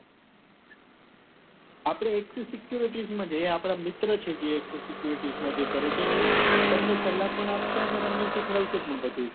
આપડે axis security માં જઈ એ આપના મિત્ર છે જે axis security માં જે કરે છે એ તમને સલાહ પણ આપશે અને તમને સીખવાડ સે પણ બધું ઈ